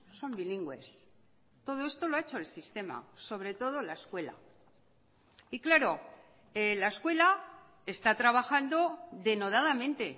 son bilingües todo esto lo ha hecho el sistema sobre todo la escuela y claro la escuela está trabajando denodadamente